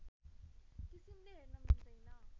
किसिमले हेर्न मिल्दैन